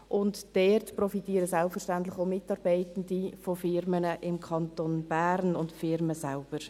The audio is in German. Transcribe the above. Hiervon profitieren selbstverständlich auch Mitarbeitende von Unternehmen im Kanton Bern, und die Unternehmen selber.